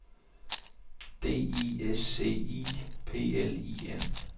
D I S C I P L I N